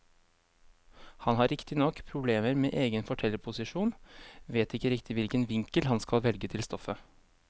Han har riktignok problemer med egen fortellerposisjon, vet ikke riktig hvilken vinkel han skal velge til stoffet.